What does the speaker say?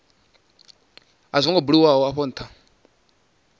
kha zwo buliwaho afho nha